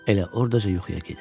Elə ordaca yuxuya gedir.